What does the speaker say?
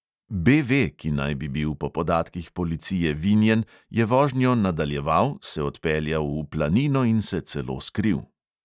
B V, ki naj bi bil po podatkih policije vinjen, je zvožnjo nadaljeval, se odpeljal v planino in se celo skril.